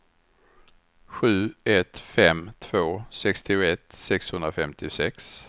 sju ett fem två sextioett sexhundrafemtiosex